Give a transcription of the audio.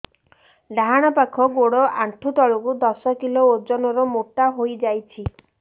ଡାହାଣ ପାଖ ଗୋଡ଼ ଆଣ୍ଠୁ ତଳକୁ ଦଶ କିଲ ଓଜନ ର ମୋଟା ହେଇଯାଇଛି